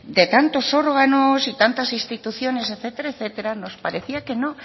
de tantos órganos y tantas instituciones etcétera etcétera nos parecía que no